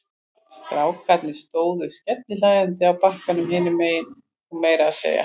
Strákarnir stóðu skellihlæjandi á bakkanum hinum megin og meira að segja